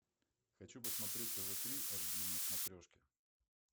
хочу посмотреть тв три аш ди на смотрешке